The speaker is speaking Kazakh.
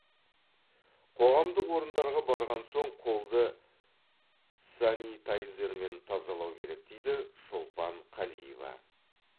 қоғамдық орындарға барған соң қолды санитайзермен тазалау керек дейді шолпан қалиева